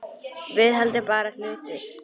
Viðhald er bara hlutur.